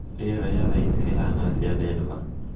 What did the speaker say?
rĩera ria thaa cii rihana atia denver